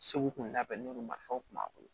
Segu kun labɛnu marifaw kun b'a bolo